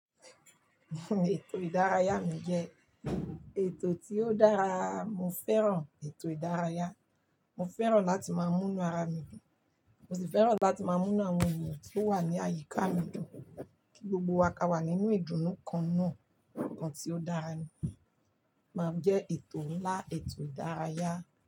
Ètò ìdárayá mi jẹ́ ètò tí ó dára. Mo fẹ́ràn ètò ìdárayá. Mo fẹ́ràn láti máa múnú ara mi, mo sì fẹ́ràn láti máa múnú àwọn ènìyàn tí ó wà ní àyíká mi dùn kí gbogbo wa ká wà nínú ìdùnnú kan náà, kan tí ó dára ni. Màá jẹ ètò ńlá, ètò ìdárayá.